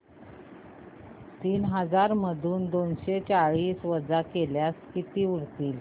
तीन हजार मधून दोनशे चाळीस वजा केल्यास किती उरतील